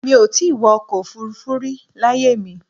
Mi ò ì tí ì wọ́ ọkọ̀ Òfurufú rí láyé mi